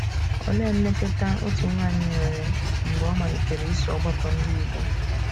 Olee mmetụta otu nwanyị nwere mgbe ọ malitere iso ọgbakọ Ndị Igbo?